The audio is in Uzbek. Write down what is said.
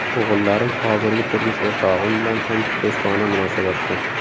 O‘g‘illarim hozirgi turmush o‘rtog‘im bilan ham do‘stona munosabatda.